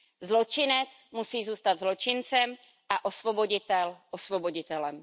Zločinec musí zůstat zločincem a osvoboditel osvoboditelem.